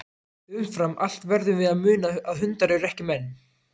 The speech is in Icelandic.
Umfram allt verðum við að muna að hundar eru ekki menn.